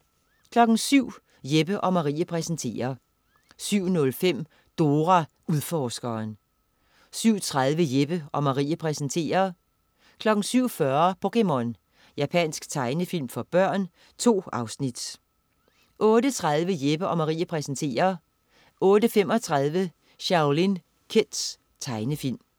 07.00 Jeppe & Marie præsenterer 07.05 Dora Udforskeren 07.30 Jeppe & Marie præsenterer 07.40 POKéMON. Japansk tegnefilm for børn. 2 afsnit 08.30 Jeppe & Marie præsenterer 08.35 Shaolin Kids. Tegnefilm